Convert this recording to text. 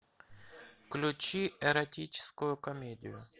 включи эротическую комедию